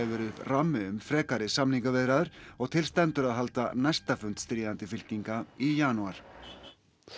verið upp rammi um frekari samningaviðræður og til stendur að halda næsta fund stríðandi fylkinga í janúar